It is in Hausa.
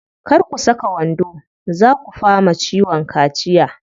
Kar ku saka wando, zaa ku fama ciwon kaciya.